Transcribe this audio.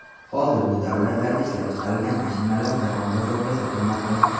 Hozir bu davlatlarda ishlab chiqarilgan mashinalar jahon bozorida sotilmoqda.